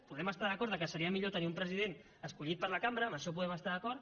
podem estar d’acord que seria millor tenir un president escollit per la cambra en això podem estar d’acord